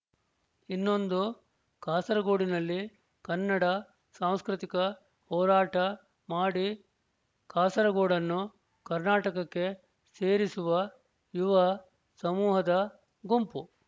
ಇನ್ನೊಂದು ಕಾಸರಗೋಡಿನಲ್ಲಿ ಕನ್ನಡ ಸಾಂಸ್ಕೃತಿಕ ಹೋರಾಟ ಮಾಡಿ ಕಾಸರಗೋಡನ್ನು ಕರ್ನಾಟಕಕ್ಕೆ ಸೇರಿಸುವ ಯುವ ಸಮೂಹದ ಗುಂಪು